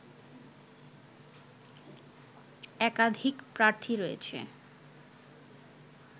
একাধিক প্রার্থী রয়েছে